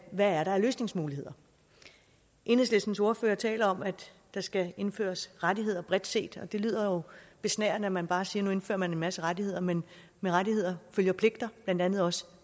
hvad er der af løsningsmuligheder enhedslistens ordfører taler om at der skal indføres rettigheder bredt set og det lyder jo besnærende at man bare siger at nu indfører man en masse rettigheder men med rettigheder følger pligter blandt andet også